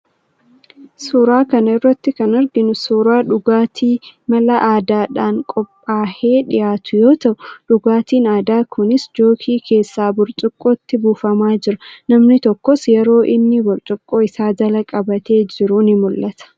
Suuraa kana irratti kan arginu suuraa dhugaatii mala aadaadhaan qophaahee dhiyaatu yoo ta'u, dhugaatiin aadaa kunis jookii keessaa burcuqqootti buufamaa jira. Namni tokkos yeroo inni burcuqqoo isaa jala qabatee jiru ni mul'ata.